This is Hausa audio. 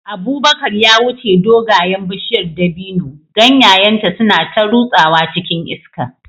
Abubakar ya wuce dogayen bishiyar dabino, ganyayenta suna ta rutsawa cikin iska.